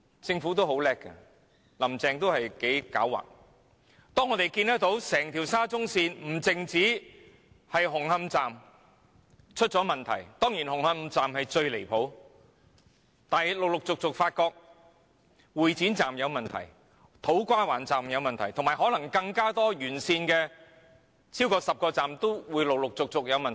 政府很聰明，"林鄭"亦很狡猾，當整條沙中線而不止是紅磡站出現問題，但當然以紅磡站的問題最離譜，並繼而陸續發現會展站、土瓜灣站甚至沿線超過10個車站也可能出現問題。